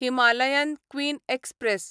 Himalayan queen express